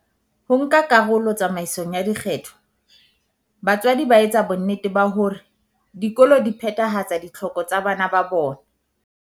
Ho nka karolo tsamaisong ya dikgetho, batswadi ba etsa bonnete ba hore dikolo di phethahatsa ditlhoko tsa bana ba bona.